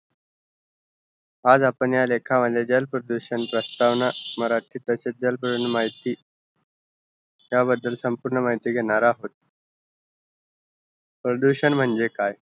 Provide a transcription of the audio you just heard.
आज आपण ह्या लेखा मध्ये जल प्रदूषण प्रसतवाना मराठी जल प्रदूषण माहिती ह्या बदल संपुर्ण माहितीघेणार आहोत प्रदूषण म्हणजे काय